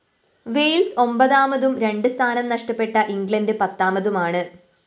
Wales ഒമ്പതാമതും രണ്ട് സ്ഥാനം നഷ്ടപ്പെട്ട ഇംഗ്ലണ്ട് പത്താമതുമാണ്